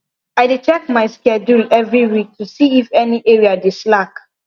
i dey check my schedule every week to see if any area dey slack